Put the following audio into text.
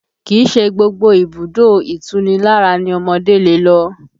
Kìí ṣe gbogbo ibùdó ìtunilára ni ọmọdé lè lọ